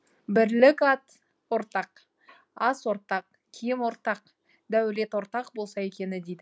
бірлік ат ортақ ас ортақ киім ортақ дәулет ортақ болса екен дейді